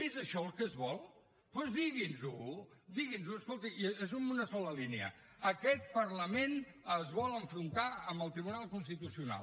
és això el que es vol doncs digui’ns ho digui’ns ho escolti és amb una sola línia aquest parlament es vol enfrontar amb el tribunal constitucional